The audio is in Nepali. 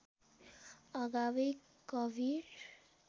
अगावै कवीर